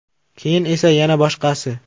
Keyin esa yana boshqasi.